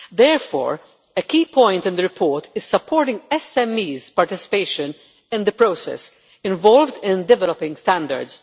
Therefore, a key point in the report is supporting SMEs' participation in the process of developing standards.